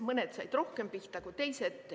Mõned said rohkem pihta kui teised.